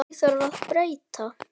Því þarf að breyta.